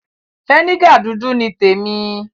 Fínégà dúdú ni témi.